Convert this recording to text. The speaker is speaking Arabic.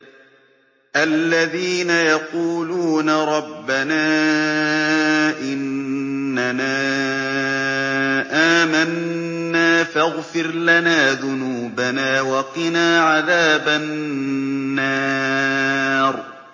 الَّذِينَ يَقُولُونَ رَبَّنَا إِنَّنَا آمَنَّا فَاغْفِرْ لَنَا ذُنُوبَنَا وَقِنَا عَذَابَ النَّارِ